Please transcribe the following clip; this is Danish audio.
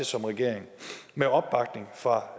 som regering med opbakning fra